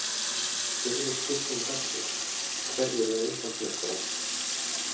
Fyrri spurning dagsins: Hverjir verða Íslandsmeistarar?